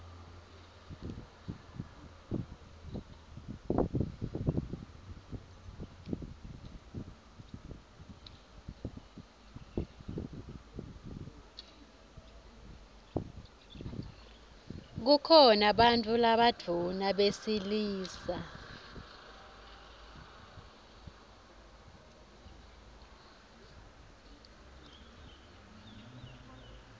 kukhona bantfu labadvuna besilisa